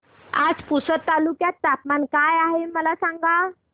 आज पुसद तालुक्यात तापमान काय आहे मला सांगा